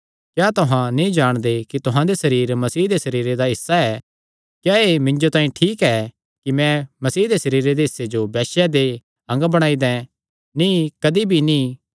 क्या तुहां नीं जाणदे कि तुहां दे सरीर मसीह दे सरीरे दा हिस्सा ऐ क्या एह़ मिन्जो तांई ठीक ऐ कि मैं मसीह सरीरे दे हिस्से जो वैश्या दे अंग बणाई दैं नीं कदी भी नीं